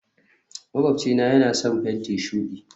makwabcina yana son fenti shudi